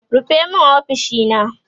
rufe min ofishina!